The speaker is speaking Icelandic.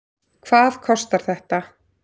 Hvað kostar þetta?